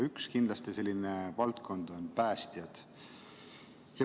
Üks selline valdkond on päästjad.